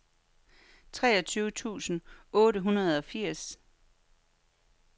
treogtyve tusind otte hundrede og firs